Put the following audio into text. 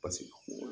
Paseke